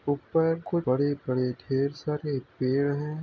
ऊपर को बड़े-बड़े ढेर सारे पेड़ हैं।